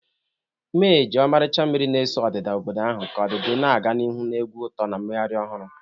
Mee ji ọmarịcha mmiri na-ese odida obodo ahụ, ka ọdịdị na-aga n'ihu na egwu uto na mmeghari ohuru